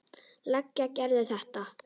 Leigja Gerði þetta.